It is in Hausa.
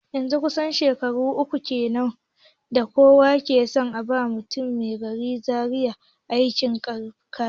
Yanzun kusan shekaru uku kenan da kowa ke son ba mutumin garin Zaria aikin kafinta